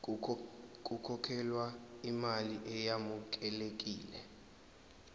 kukhokhelwe imali eyamukelekile